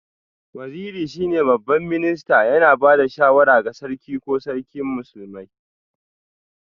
Waziri shine Babban Minista, yana ba da shawara ga Sarki ko Sarkin Musulmi